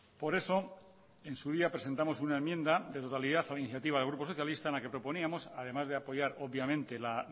por eso en su día presentamos una enmienda de totalidad a la iniciativa del grupo socialista en la que proponíamos además de apoyar obviamente la